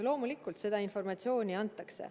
Loomulikult, seda informatsiooni antakse.